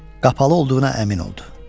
Qapalı olduğuna əmin oldu.